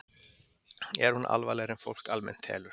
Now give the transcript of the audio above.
er hún alvarlegri en fólk almennt telur